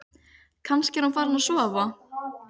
Kannski er hún farin að sofa.